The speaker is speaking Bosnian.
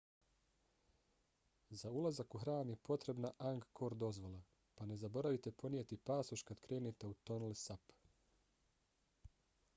za ulazak u hram je potrebna angkor dozvola pa ne zaboravite ponijeti pasoš kad krenete u tonle sap